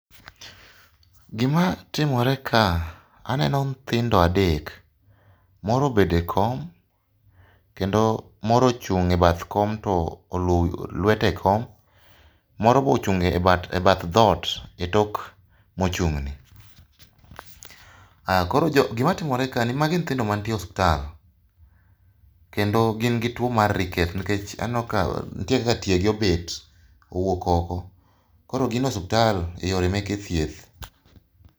Gima timoreka, aneno nyithindo adek. Moro obedo ekom, kendo moro ochung' ebath kom to oluowo lwete ekom moro be ochung' e bath dhoot e tok mochung'ni. Ah koro jo gimatimore kae magi nyithindo mantie osiptal kendo gin gituo mar ricket nikech aneno ka nitie kaka tie gi obet, owuok oko. Koro gin e osiptal eyore meke thieth.